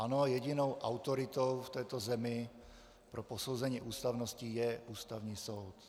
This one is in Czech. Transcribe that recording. Ano, jedinou autoritou v této zemi pro posouzení ústavnosti je Ústavní soud.